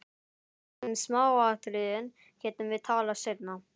Um smáatriðin getum við talað seinna.